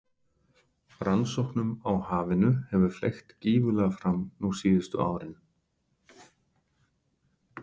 Rannsóknum á hafinu hefur fleygt gífurlega fram nú síðustu árin.